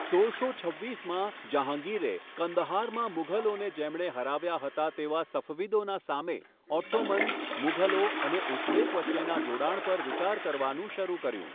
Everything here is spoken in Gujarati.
સોળસો છવ્વીસમાં, જહાંગીરે કંદહારમાં મુઘલોને જેમણે હરાવ્યા હતા તેવા સફવિદોના સામે ઓટ્ટોમન, મુઘલો અને ઉઝબેક વચ્ચેના જોડાણ પર વિચાર કરવાનું શરૂ કર્યું.